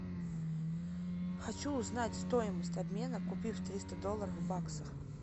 хочу узнать стоимость обмена купив триста долларов в баксах